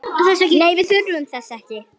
Nei, við þurfum þess ekki.